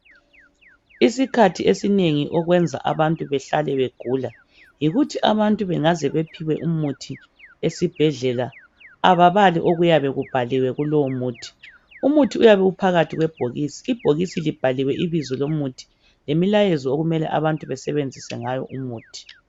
Isikhathi esinengi okwenza abantu bahlale begula yikuthi abantu bengaze bephiwe umuthi esibhedlela ababali okuyabe kubhaliwe kulowo muthi. Umuthi uyabe uphakathi kwebhokisi ibhokisi liyabe libhaliwe ibizo lomuthi lemilayezo okumele abantu besebenzise ngayo umuthi.